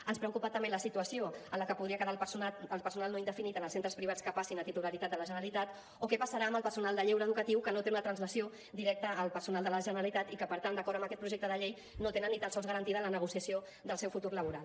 ens preocupa també la situació en la que podria quedar el personal no indefinit en els centres privats que passin a titularitat de la generalitat o què passarà amb el personal de lleure educatiu que no té una translació directa al personal de la generalitat i que per tant d’acord amb aquest projecte de llei no tenen ni tan sols garantida la negociació del seu futur laboral